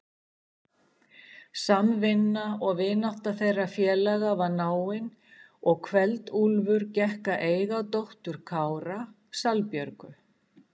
Samvinna og vinátta þeirra félaga var náin og Kveld-Úlfur gekk að eiga dóttur Kára, Salbjörgu.